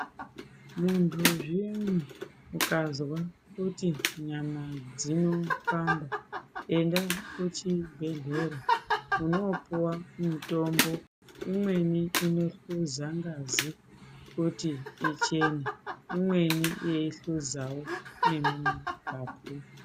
Mundu zviyani ukazwa kuti nyama dzinopanda enda kuchibhedhlera unono puwa mutombo imweni inohluza ngazi kuti ichene imweni yeyihluzawo nemumapapu.